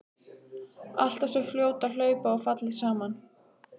Alltaf svo fljót að hlaupa og falleg saman.